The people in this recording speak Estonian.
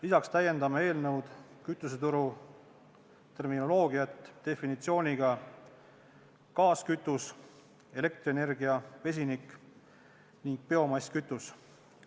Lisaks täiendame eelnõuga kütuseturu terminoloogiat, andes definitsiooni, mis on gaaskütus, elektrienergia, vesinik ning biomasskütus.